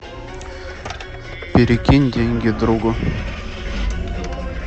перекинь деньги другу